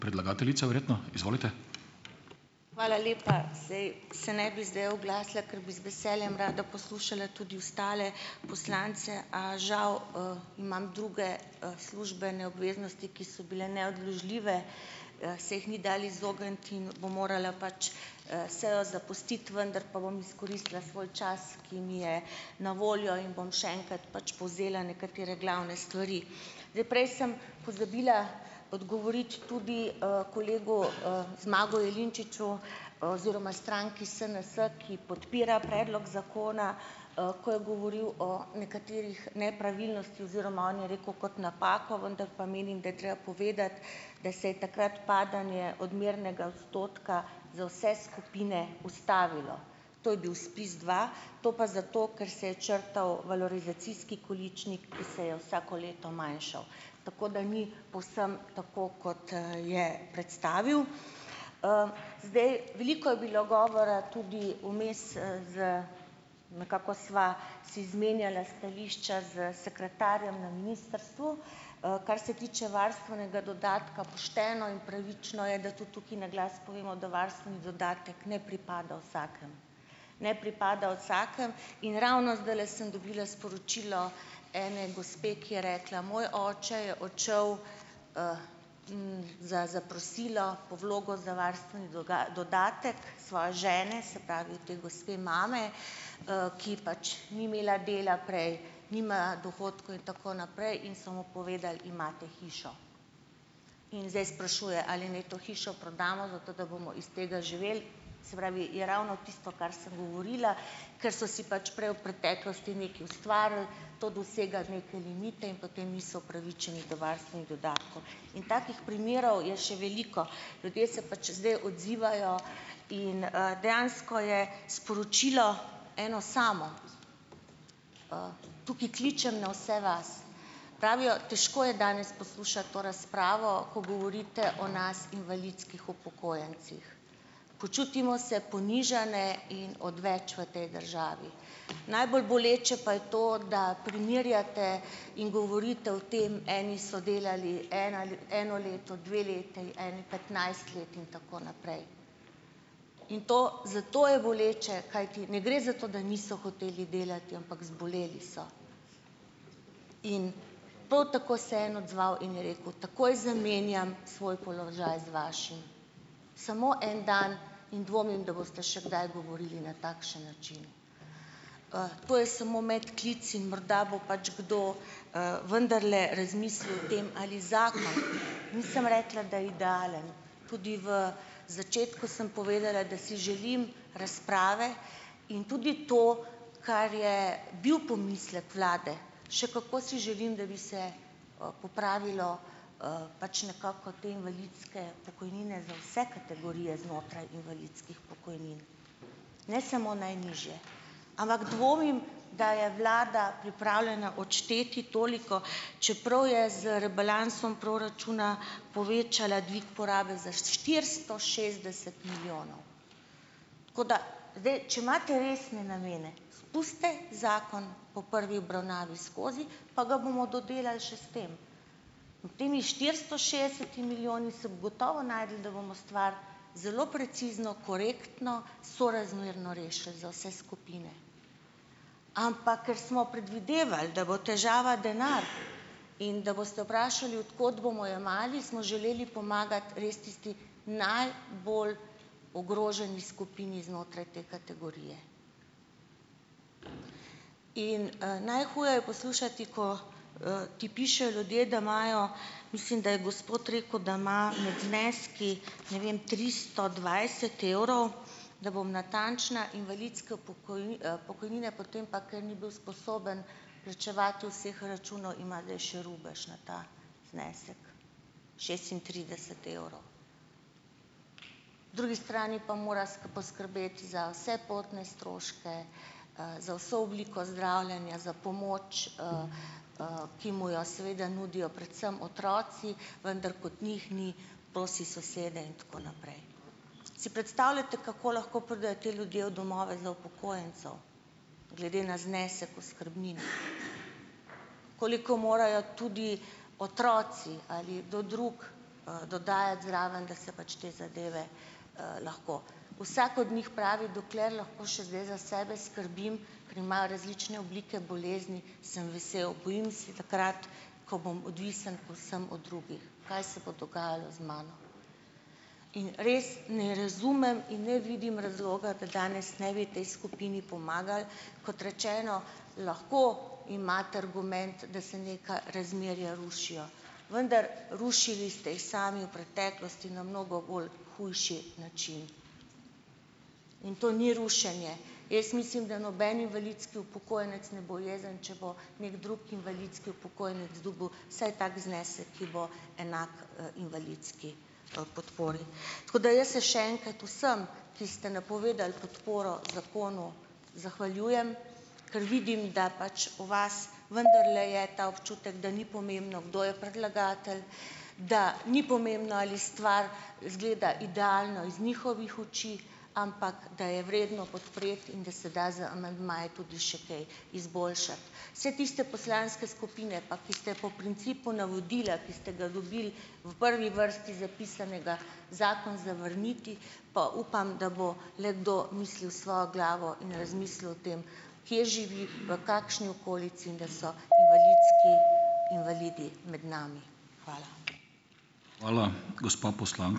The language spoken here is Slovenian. Hvala lepa. Saj, se ne bi zdaj oglasila, ker bi z veseljem rada poslušala tudi ostale poslance, a žal, imam druge, službene obveznosti, ki so bile neodložljive, se jih ni dalo izogniti in bom morala pač, sejo zapustiti, vendar pa bom izkoristila svoj čas, ki mi je na voljo in bom še enkrat pač povzela nekatere glavne stvari. Zdaj, prej sem pozabila odgovoriti tudi, kolegu, Zmagu Jelinčiču oziroma stranki SNS, ki podpira predlog zakona, ko je govoril o nekaterih nepravilnostih oziroma on je rekel kot napako, vendar pa menim, da je treba povedati, da se je takrat padanje odmernega odstotka, za vse skupine, ustavilo, to je bil SPIZ dva, to pa zato, ker se je črtal valorizacijski količnik, ki se je vsako leto manjšal. Tako da ni povsem tako, kot, je predstavil. Zdaj, veliko je bilo govora tudi vmes, z, nekako sva si izmenjala stališča s sekretarjem na ministrstvu, kar se tiče varstvenega dodatka, pošteno in pravično je, da tudi tukaj na glas povemo, da varstveni dodatek ne pripada vsakemu. Ne pripada vsakemu in ravno zdajle sem dobila sporočilo ene gospe, ki je rekla: "Moj oče je odšel, za zaprosilo po vlogo za varstveni dodatek svoje žene." Se pravi, od te gospe mame, ki pač ni imela dela prej, nima dohodkov in tako naprej in so mu povedal: "Imate hišo." In zdaj sprašuje, ali naj to hišo prodamo, zato da bomo iz tega živeli. Se pravi, je ravno tisto, kar sem govorila, ker so si pač prej v preteklosti nekaj ustvarili, to dosega neke limite in potem niso upravičeni do varstvenih dodatkov. In takih primerov je še veliko. Ljudje se pač zdaj odzivajo in, dejansko je sporočilo eno samo, tukaj kličem na vse vas, pravijo, težko je danes poslušati to razpravo, ko govorite o nas, invalidskih upokojencih, počutimo se ponižane in odveč v tej državi. Najbolj boleče pa je to, da primerjate in govorite o tem, eni so delali ena, eno leto, dve leti, eni petnajst let in tako naprej. In to, zato je boleče, kajti ne gre za to, da niso hoteli delati, ampak zboleli so, in prav tako se je en odzval in je rekel: "Takoj zamenjam svoj položaj, z vašim. Samo en dan in dvomim, da boste še gdaj govorili na takšen način." To je samo medklic in morda bo pač kdo, vendarle razmislil o tem, ali zakon, nisem rekla, da je idealen, tudi v začetku sem povedala, da si želim razprave, in tudi to, kar je bil pomislek vlade, še kako si želim, da bi se popravilo, pač nekako te invalidske pokojnine za vse kategorije znotraj invalidskih pokojnin, ne samo najnižje. Ampak dvomim, da je vlada pripravljena odšteti toliko, čeprav je z rebalansom proračuna povečala dvig porabe za štiristo šestdeset milijonov. Tako da zdaj, če imate resne namene, spustite zakon po prvi obravnavi skozi, pa ga bomo dodelali še s tem. Med temi štiristo šestdesetimi milijoni se bo gotovo našlo, da bomo stvar zelo precizno, korektno, sorazmerno rešili za vse skupine. Ampak, ker smo predvidevali, da bo težava denar in da boste vprašali, od kod bomo jemali, smo želeli pomagati res tisti najbolj ogroženi skupini znotraj te kategorije. In, najhuje je poslušati, ko, ti pišejo ljudje, da imajo, mislim, da je gospod rekel, da ima med zneski, ne vem, tristo dvajset evrov, da bom natančna, invalidske pokojnine, potem pa, ker ni bil sposoben plačevati vseh računov, ima zdaj še rubež na ta znesek, šestintrideset evrov. Po drugi strani pa mora poskrbeti za vse potne stroške, za vse obliko zdravljenja, za pomoč, ki mu jo seveda nudijo predvsem otroci, vendar kot njih ni, prosi sosede in tako naprej. Si predstavljate, kako lahko pridejo ti ljudje v domove za upokojence, glede na znesek oskrbnin, koliko morajo tudi otroci ali kdo drug, dodajati zraven. Da se pač te zadeve, lahko ... Vsak od njih pravi, dokler lahko še zdaj za sebe skrbim, ker imajo različne oblike bolezni, sem vesel, bojim se takrat, ko bom odvisen povsem od drugih, kaj se bo dogajalo z mano. In res ne razumem in ne vidim razloga, da danes ne bi tej skupini pomagali. Kot rečeno, lahko imate argument, da se neka razmerja rušijo, vendar rušili ste jih sami v preteklosti na mnogo bolj hujši način. In to ni rušenje. Jaz mislim, da noben invalidski upokojenec ne bo jezen, če bo neki drug invalidski upokojenec dobil vsaj tak znesek, ki bo enak, invalidski, podpori. Tako jaz se še enkrat vsem, ki ste napovedali podporo zakonu, zahvaljujem, ker vidim, da pač v vas vendarle je ta občutek, da ni pomembno, kdo je predlagatelj, da ni pomembno, ali stvar izgleda idealno iz njihovih oči, ampak da je vredno podpreti in da se da z amandmaji tudi še kaj izboljšati. Vse tiste poslanske skupine, pa ki ste po principu navodila, ki ste ga dobili v prvi vrsti zapisanega, zakon zavrniti, pa upam, da bo le kdo mislil s svojo glavo in razmislil o tem, kje živi, v kakšni okolici, in da so invalidski invalidi med nami. Hvala.